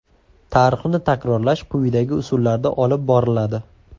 Tarixni takrorlash quyidagi usullarda olib boriladi.